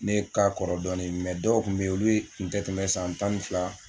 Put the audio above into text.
Ne ka kɔrɔ dɔɔni mɛ dɔw kun be yen olu ye kun te tɛmɛ san tan ni fila